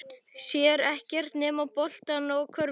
Sér ekkert nema boltann og körfuna.